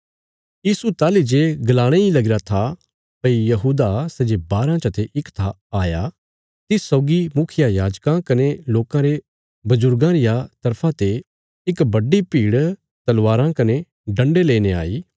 यीशु ताहली जे गलाणे इ लगीरा था भई यहूदा सै जे बाराँ चते इक था आया तिस सौगी मुखियायाजकां कने लोकां रे बजुर्गां रिया तरफा ते इक बड्डी भीड़ तलवारां कने डन्डे लेईने आई